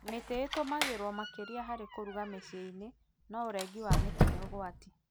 Mĩti ĩtũmĩragwo makĩria harĩ kũruga micii-inĩ, no ũrengi wa mĩti nĩ ũgwati